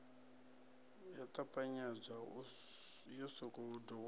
yo ṱapanyedzwa yo sokou dovhololwa